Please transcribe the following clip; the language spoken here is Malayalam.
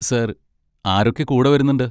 സർ, ആരൊക്കെ കൂടെ വരുന്നുണ്ട്?